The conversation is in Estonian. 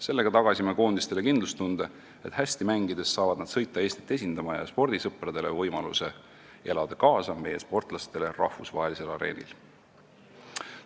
Sellega tagasime koondistele kindlustunde, et hästi mängides saavad nad sõita Eestit esindama, ja spordisõpradele võimaluse meie sportlastele rahvusvahelisel areenil kaasa elada.